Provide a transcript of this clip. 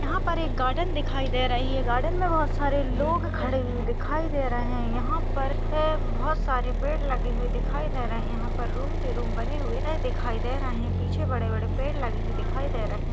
यहा पर एक गार्डेन दिखाई दे रही है। गार्डेन मे बहुत सारे लोग खड़े हुए दिखाई दे रहे है। यहा पर अह बहुत सारे पेड़ लगे हुए दिखाई दे रहे। यहा पर रूम के रूम बने हुए दिखाई दे रहे। पीछे बड़े बड़े पेड़ लगे हुए दिखाई दे रहे --